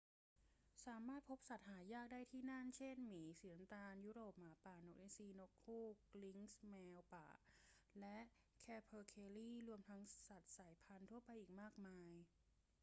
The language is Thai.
สามารถพบสัตว์หายากได้ที่นั่น เช่น หมีสีน้ำตาลยุโรป หมาป่า นกอินทรี นกฮูก ลิงซ์ แมวป่า และแคเพอร์เคลี รวมทั้งสัตว์สายพันธุ์ทั่วไปอีกมากมาย